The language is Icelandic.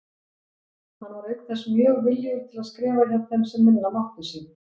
Hann var auk þess mjög viljugur til að skrifa hjá þeim sem minna máttu sín.